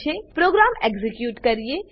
હવે ચાલો program execute કરીએ